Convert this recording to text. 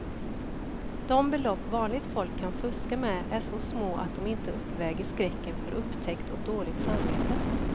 De belopp vanligt folk kan fuska med är så små att de inte uppväger skräcken för upptäckt och dåligt samvete.